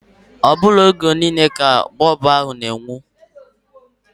Ọ bụghị oge niile ka bọb ahu na-enwu.